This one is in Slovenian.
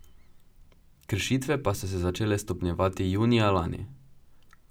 Kršitve pa so se začele stopnjevati junija lani.